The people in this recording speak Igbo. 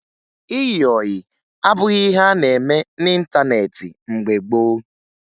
Ịyị ọyị abụghị ihe a na-eme n'ịntaneetị mgbe gboo